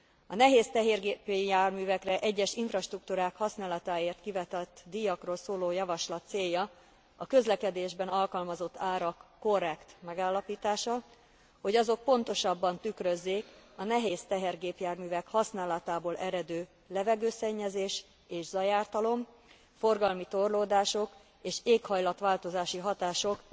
A nehéz tehergépjárművekre egyes infrastruktúrák használatáért kivetett díjakról szóló javaslat célja a közlekedésben alkalmazott árak korrekt megállapítása, hogy azok pontosabban tükrözzék a nehéz tehergépjárművek használatából eredő levegőszennyezés és zajártalom, forgalmi torlódások és éghajlat változási hatások